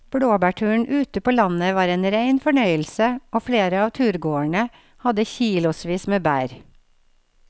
Blåbærturen ute på landet var en rein fornøyelse og flere av turgåerene hadde kilosvis med bær.